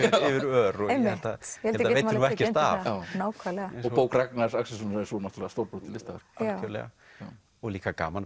ör og ég held að það veiti nú ekkert af og bók Ragnars Axelssonar er náttúrulega stórbrotið listaverk algjörlega og líka gaman